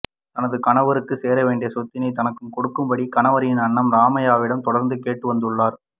தனது கணவருக்கு சேர வேண்டிய சொத்தினை தனக்கு கொடுக்கும்படி கணவரின் அண்ணன் ராமைய்யாவிடம் தொடர்ந்து கேட்டு வந்துள்ளார்